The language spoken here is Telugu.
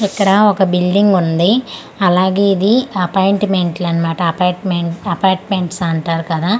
ఇక్కడ ఒక బిల్డింగ్ ఉంది అలాగే ఇది అపాయింట్మెంట్ లు అన్నమాట అపార్ట్మెంట్ అపార్ట్మెంట్స్ అంటారు కదా .]